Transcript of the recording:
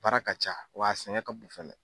Baara ka ca wa a sɛgɛn ka bon fɛnɛ.